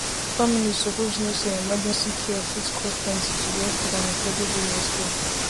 families suppose know say emergency care fit cost plenty to get quick and affordable healthcare